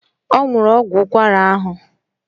Ọ nwụrụ ọgwụ ụkwara ahụ